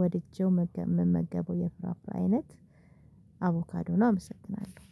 ወድጄው ምመገበው የፍራፍሬ አይነት አቮካዶ ነው። አመሰግናለሁ።